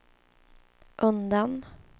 undan